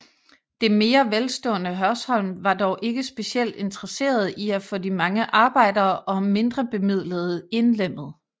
Det mere velstående Hørsholm var dog ikke specielt interesserede i at få de mange arbejdere og mindrebemidlede indlemmet